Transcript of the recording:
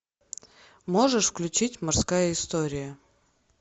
можешь включить морская история